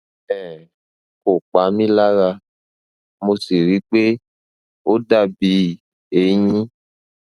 um kò pa mí lára mo sì ríi pé ó dàbí eyín